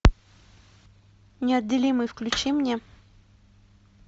неотделимые включи мне